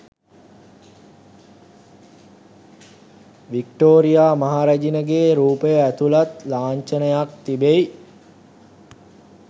Victoria මහ රැජනගේ රූපය ඇතුළත් ලාංඡනයක් තිබෙයි